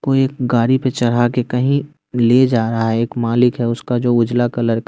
कोई एक गाड़ी पे चढ़ा के कहीं ले जा रहा है एक मालिक है उसका जो उजला कलर क --